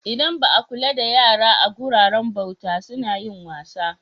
Idan ba a kula da yara a guraren bauta suna yin wasa.